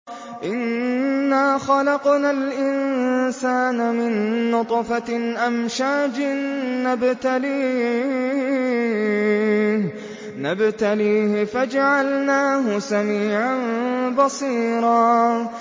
إِنَّا خَلَقْنَا الْإِنسَانَ مِن نُّطْفَةٍ أَمْشَاجٍ نَّبْتَلِيهِ فَجَعَلْنَاهُ سَمِيعًا بَصِيرًا